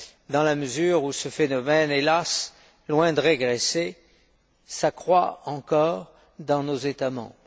heure, dans la mesure où ce phénomène, hélas, loin de régresser, s'accroît encore dans nos États membres.